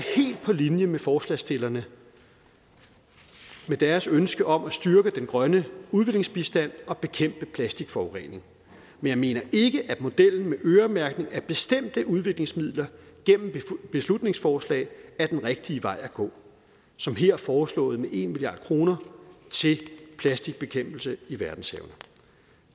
helt på linje med forslagsstillerne og deres ønske om at styrke den grønne udviklingsbistand og bekæmpe plastikforurening men jeg mener ikke at modellen med øremærkning af bestemte udviklingsmidler gennem beslutningsforslag er den rigtige vej at gå som her foreslået med en milliard kroner til plastikbekæmpelse i verdenshavene